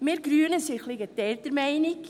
Wir Grünen sind ein wenig geteilter Meinung.